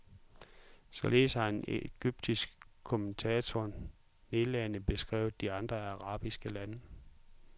Således har en egyptisk kommentator nedladende beskrevet de andre arabiske lande.